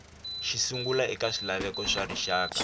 xisungla eka swilaveko swa rixaka